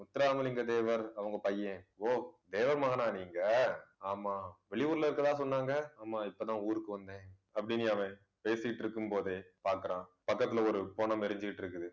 முத்துராமலிங்க தேவர் அவங்க பையன் ஓ தேவர் மகனா நீங்க ஆமாம் வெளியூர்ல இருக்கிறதா சொன்னாங்க. ஆமாம் இப்பதான் ஊருக்கு வந்தேன் அப்படீன்னு அவன் பேசிட்டு இருக்கும் போதே பாக்குறான் பக்கத்துல ஒரு பிணம் எரிஞ்சுக்கிட்டு இருக்குது